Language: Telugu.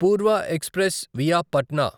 పూర్వ ఎక్స్ప్రెస్ వియా పట్నా